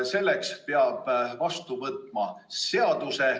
Selleks peab vastu võtma seaduse.